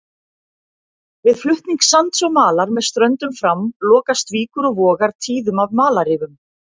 Við flutning sands og malar með ströndum fram lokast víkur og vogar tíðum af malarrifum.